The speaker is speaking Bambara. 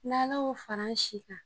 N'Ala y'o fara an si kan